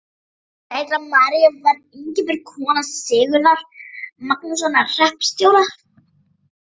Ein dætra Maríu var Ingibjörg, kona Sigurðar Magnússonar hreppstjóra.